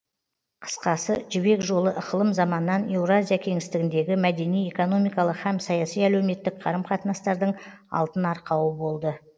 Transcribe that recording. қысқасы жібек жолы ықылым заманнан еуразия кеңістігіндегі мәдени экономикалық һәм саяси әлеуметтік қарым қатынастардың алтын арқауы болды